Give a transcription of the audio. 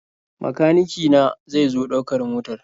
Makanike na zai zo ɗaukar motar.